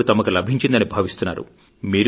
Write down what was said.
ఇప్పుడు తమకు లభించిందని భావిస్తున్నారు